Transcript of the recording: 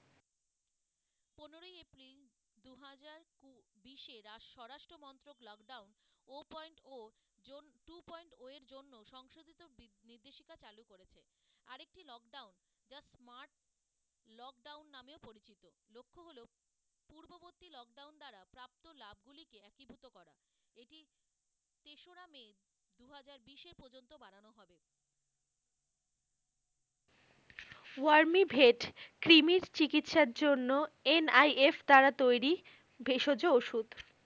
ও আর মি ভেদ কৃমির চিকিৎসার জন্য NIS দ্বারা তৈরি, ভেষজ ওষুধ।